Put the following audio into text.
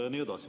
" Jne.